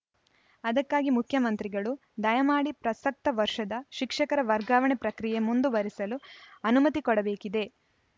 ಅದಕ್ಕಾಗಿ ಮುಖ್ಯಮಂತ್ರಿಗಳು ದಯಮಾಡಿ ಪ್ರಸಕ್ತ ವರ್ಷದ ಶಿಕ್ಷಕರ ವರ್ಗಾವಣೆ ಪ್ರಕ್ರಿಯೆ ಮುಂದುವರೆಸಲು ಅನುಮತಿ ಕೊಡಬೇಕಿದೆ